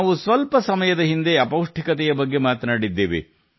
ನಾವು ಸ್ವಲ್ಪ ಸಮಯದ ಹಿಂದೆ ಅಪೌಷ್ಟಿಕತೆಯ ಬಗ್ಗೆ ಉಲ್ಲೇಖಿಸಿದ್ದೇವೆ